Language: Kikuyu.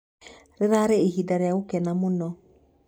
"Rĩrarĩ ihinda rĩa-gũkena mũno.